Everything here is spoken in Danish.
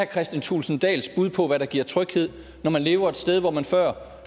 kristian thulesen dahls bud på hvad der giver tryghed når man lever et sted hvor man før